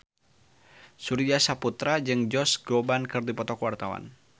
Surya Saputra jeung Josh Groban keur dipoto ku wartawan